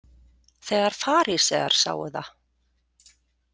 Þegar farísear sáu það.